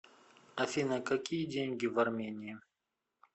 афина какие деньги в армении